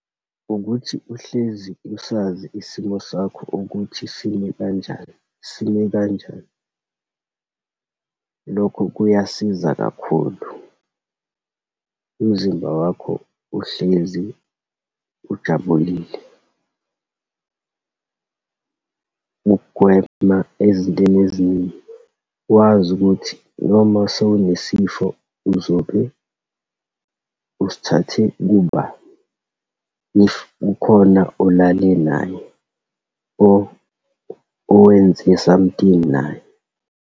Ukuthi uhlezi usazi isimo sakho ukuthi simi kanjani, sime kanjani, lokho kuyasiza kakhulu. Umzimba wakho uhlezi ujabulile, ugwema ezintweni eziningi, wazi ukuthi noma sowunesifo uzobe usithathe kubani, if kukhona olale naye or owenze something naye.